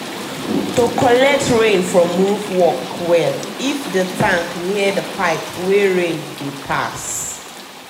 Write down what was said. to collect rain from roof work well if the tank near the pipe wey rain dey pass.